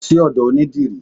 Lọ sí odò onidírì!